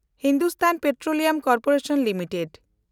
Hindustan Petroleum Corporation limited